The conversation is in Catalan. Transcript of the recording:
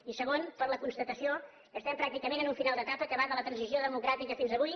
i segon per la constatació que estem pràcticament en un final d’etapa que va de la transició democràtica fins avui